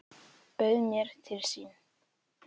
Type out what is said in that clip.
Bauð mér til sín.